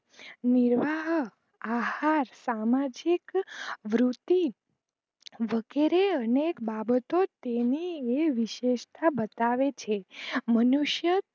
મનુષ્ય નિર્વાહા આહાર સામાજિક વૃદ્ધિ વગેરે અનેક બાબોતો તેને એ વિશેસ્તા બતાવે છે